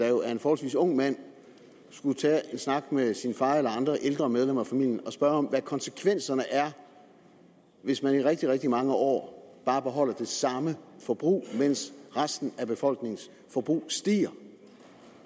jo er en forholdsvis ung mand skulle tage en snak med sin far eller andre ældre medlemmer af familien og spørge om hvad konsekvenserne er hvis man i rigtig rigtig mange år bare beholder det samme forbrug mens resten af befolkningens forbrug stiger